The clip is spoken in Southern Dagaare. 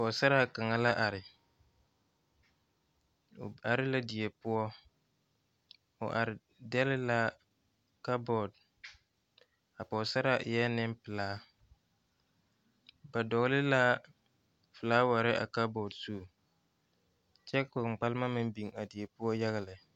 Pɔgesera kaŋa la are, o are la die poɔ o are degle la cupboard, a Pɔgesera e la Nenpelaa ba dɔgle la flower a cupboard zu, kyɛ ka kpaŋkpalema mine biŋ a die poɔ yaga lɛ.